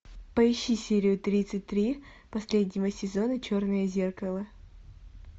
поищи серию тридцать три последнего сезона черное зеркало